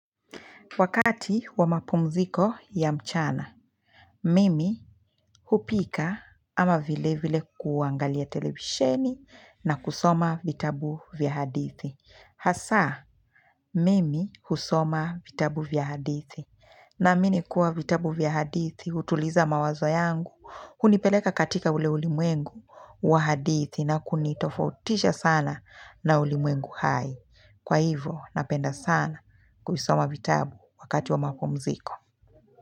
Wakati wa mapumziko ya mchana, mimi hupika ama vile vile kuangalia televisheni na kusoma vitabu vya hadithi. Hasa, mimi husoma vitabu vya hadithi. Naamini kuwa vitabu vya hadithi, hutuliza mawazo yangu, hunipeleka katika ule ulimwengu wa hadithi na kunitofautisha sana na ulimwengu hai. Kwa hivo, napenda sana kuvisoma vitabu wakati wa mapumziko.